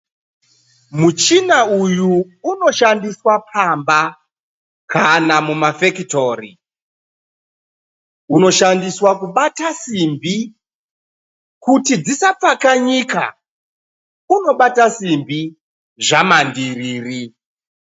Muchina uyu unoshandiswa pamba kana mumafekitori. Unoshandiswa kubata simbi kuti dzisapfakanyika. Unobata simbi zvamandiriri.